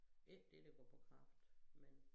Ikke det der går på kraft men